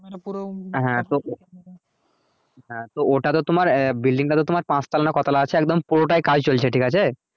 হ্যাঁ ওটাতো তোমার building টা তো তোমার পাঁচ তলা না ক তলা আছে একদম পুরোটাই কাজ চলছে ঠিক আছে